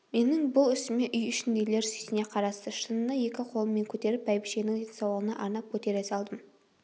менің бұл ісіме үй ішіндегілер сүйсіне қарасты шыныны екі қолыммен көтеріп бәйбішенің денсаулығына арнап көтере салдым